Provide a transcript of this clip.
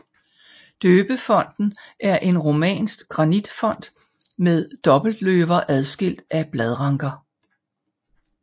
Døbefonten er en romansk granitfont med dobbeltløver adskilt af bladranker